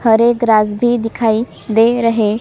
हरे grass भी दिखाई दे रहे है।